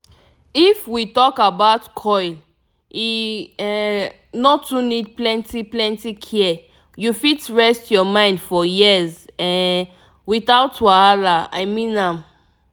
if we talk about coil e um no too need plenty plenty care u fit rest ur mind for years um without wahala i mean am